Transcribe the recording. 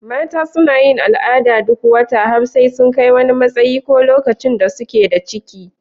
Mata suna yin al'ada duk wata har sai sun kai wani matsayi ko lokacin da suke da ciki.